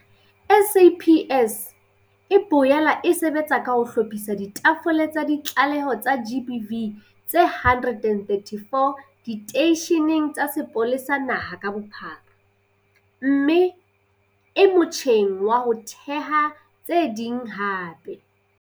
SAPS e boela e sebetsa ka ho hlophisa ditafole tsa ditlaleho tsa GBV tse 134 diteisheneng tsa sepolesa naha ka bophara mme e motjheng wa ho theha tse ding hape.